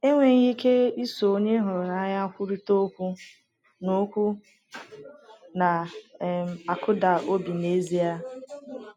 Enweghị ike iso onye ị hụrụ n’anya kwurịta okwu na okwu na um - akụda obi n’ezie.